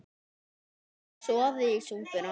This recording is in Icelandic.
Þetta myndar soðið í súpuna.